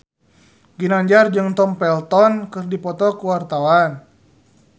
Ginanjar jeung Tom Felton keur dipoto ku wartawan